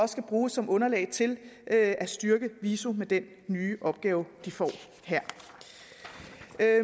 skal bruges som underlag til at styrke viso med den nye opgave de får her